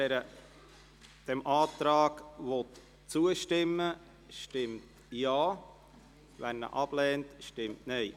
Wer dem Antrag zustimmt, stimmt Ja, wer diesen ablehnt, stimmt Nein.